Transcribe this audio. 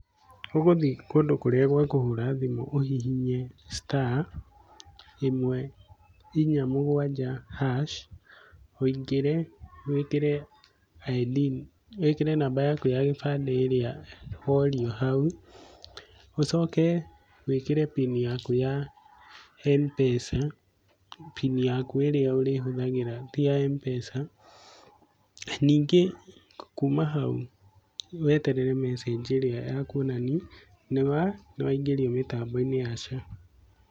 Ũgũthiĩ kũndũ kũrĩa gwakũhũra thimũ, ũhihinye star ĩmwe inya mũgwanja hash, wĩingire wĩkĩre ID, wĩkĩre namba yaku ya gĩbandĩ ĩrĩa worio haũ, ũcoke wĩkĩre pini yaku ya mpesa, pini yaku ĩrĩa ũrĩhũthagĩra ti ya mpesa. Ningĩ kuuma hau weterere message ĩrĩa ya kuonania nĩ, nĩ waingĩrio mĩtambo-inĩ ya SHA.